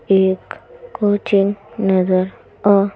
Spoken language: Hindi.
एक कोचिंग नज़र आ--